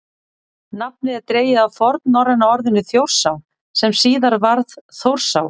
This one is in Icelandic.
nafnið er dregið af fornnorræna orðinu „þjórsá“ sem síðar varð „þórsá“